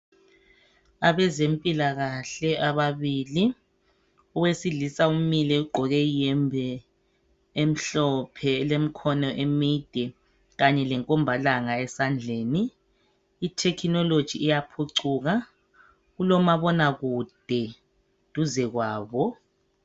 Abezempilakahle ababili owesilisa umile ugqoke iyembe omhlophe elemikhono emide kanye lenkombalanga esandleni itechnology iyaphucuka kulomabonakude duze kwabo.